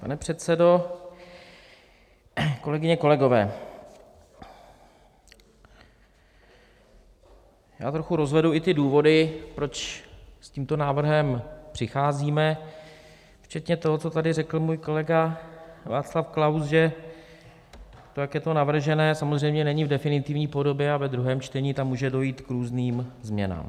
Pane předsedo, kolegyně, kolegové, já trochu rozvedu i ty důvody, proč s tímto návrhem přicházíme, včetně toho, co tady řekl můj kolega Václav Klaus, že to, jak je to navržené, samozřejmě není v definitivní podobě a ve druhém čtení tam může dojít k různým změnám.